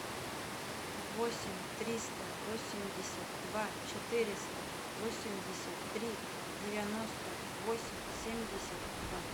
восемь триста восемьдесят два четыреста восемьдесят три девяносто восемь семьдесят два